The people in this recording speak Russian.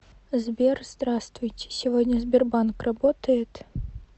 сбер здравствуйте сегодня сбербанк работает